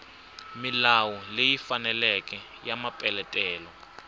milawu leyi faneleke ya mapeletelo